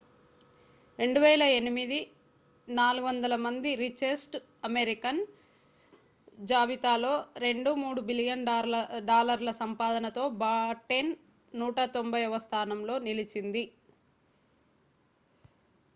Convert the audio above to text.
2008 400 మంది richest Americans జాబితాలో 2.3 billion డాలర్ల సంపాదనతో బాటెన్ 190వ స్థానంలో నిలిచింది